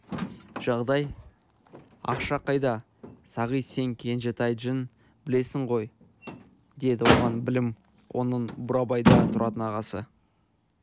жағдай ақша қайда сағит сен кенжетайдіжін білесің ғой деді оған білем оның бурабайда тұратын ағасы